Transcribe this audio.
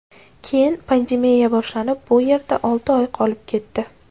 Keyin pandemiya boshlanib, bu yerda olti oy qolib ketdi.